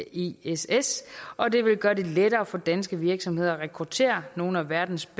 i ess ess og det vil gøre det lettere for danske virksomheder at rekruttere nogle af verdens